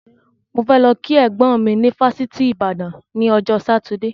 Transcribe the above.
Mo fẹ lọ kí ẹ̀gbọ́n mi ni fásitì Ìbàdàn ni ọjọ́ Sátidé